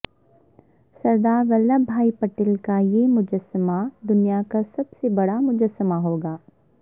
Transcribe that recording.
سردار Vallabhbhai Patel کا یہ مجسمہ دنیا کا سب سے بڑا مجسمہ ہوگا